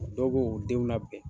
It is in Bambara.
Dɔw be u denw labɛn